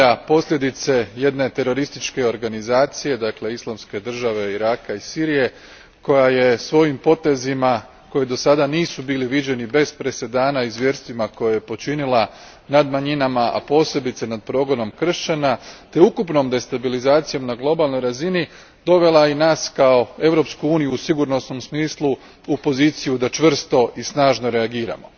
posljedice jedne terorističke organizacije, dakle Islamske države, Iraka i Sirije, koja je svojim potezima koji dosada nisu bili viđeni bez presedana i zvjerstvima koje je počinila nad manjinama, a posebice nad progonom kršćana, te ukupnom destabilizacijom na globalnoj razini dovela i nas kao Europsku uniju u sigurnosnom smislu u poziciju da čvrsto i snažno reagiramo.